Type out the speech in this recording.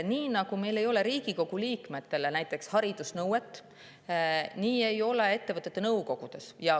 Nii nagu meil ei ole haridusnõuet näiteks Riigikogu liikmete puhul, nii ei ole seda ka ettevõtete nõukogudes.